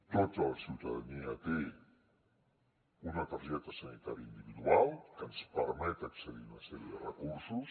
tota la ciutadania té una targeta sanitària individual que ens permet accedir a una sèrie de recursos